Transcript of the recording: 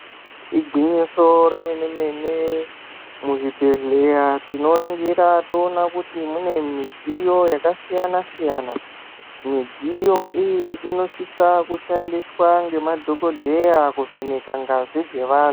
Igwinyiso remene-mene, muzvibhedhleya tinoringira toona kuti mune midziyo yakasiyana-siyana. Midziyo iyi inosisa kushandiswa ngemadhogodheya kuvheneka ngazi dzevantu.